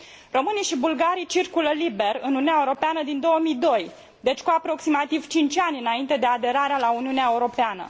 Românii și bulgarii circulă liber în Uniunea Europeană din 2002, deci cu aproximativ cinci ani înainte de aderarea la Uniunea Europeană.